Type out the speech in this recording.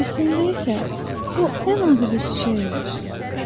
Əslində isə o, ən adi bir çiçəkmiş.